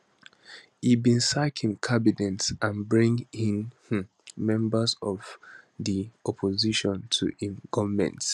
e bin sack im cabinet and bring in um members of di opposition to im goment